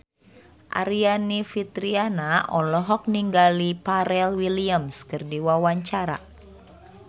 Aryani Fitriana olohok ningali Pharrell Williams keur diwawancara